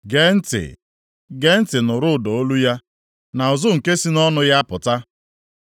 Gee ntị! Gee ntị nụrụ ụda olu ya, na ụzụ nke si nʼọnụ ya apụta.